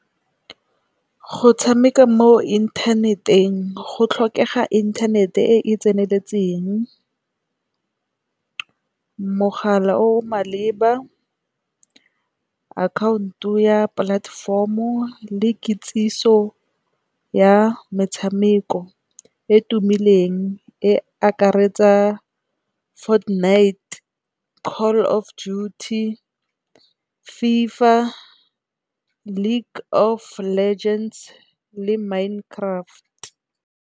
Go tshameka mo inthaneteng go tlhokega inthanete e e tseneletseng, mogala o o maleba, akhaonto ya platform-o le kitsiso ya metshameko e tumileng. E akaretsa Fortnite, Call of Duty, FIFA league of legends le Mind Craft.